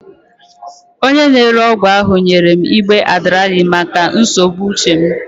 Onye na-ere ọgwụ ahụ nyere m igbe Adderall maka nsogbu uche m.